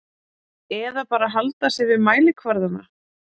Eða bara halda sig við mælikvarðana?